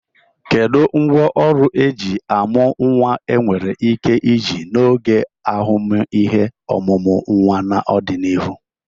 Kedu ngwaọrụ eji amu nwa enwere ike iji n'oge ahụmịhe ọmụmụ nwa n'ọdịnihu?